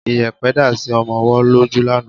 Iyẹ̀pẹ̀ dá sí ọmọ ọwọ́ lójú lánàá